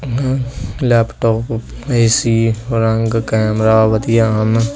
Laptop AC ਰੰਗ camera ਵਧੀਆ ਹਨ।